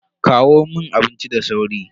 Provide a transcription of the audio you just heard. Kawo mun abinci da sauri.